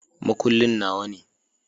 Makullin Nawa ne.